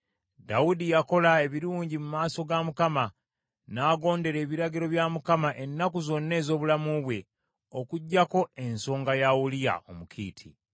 Dawudi yakola ebirungi mu maaso ga Mukama , n’agondera ebiragiro bya Mukama ennaku zonna ez’obulamu bwe, okuggyako ensonga ya Uliya Omukiiti.